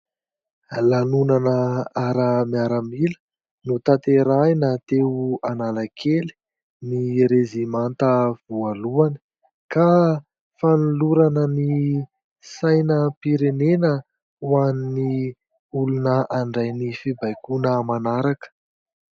Lanonana ara-miaramila, notanterahina teo Analakely ny rezimanta voalohany ka fanolorana ny sainam-pirenena ho an'ny olona handray ny fibaikoana manaraka.